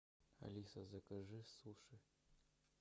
алиса закажи суши